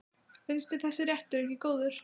Finnst þér þessi réttur ekki góður?